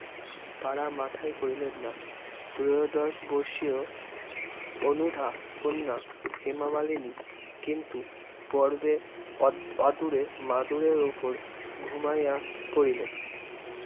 পাড়া মাথায় করিলেন না। ত্রয়োদশ বর্ষীয় অনুধা কণ্যা হেমামালেনি কিন্তু, পর্বে অদ~ অদূরে মাদুরের ওপর ঘুমাইয়া পরিলে